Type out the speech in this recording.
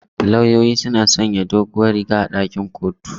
Lauyoyi suna sanya bakar doguwar riga a ɗakin kotu.